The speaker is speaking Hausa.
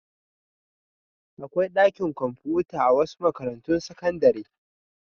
Akwai ɗakin kwamfuta a wasu makarantun sakandare.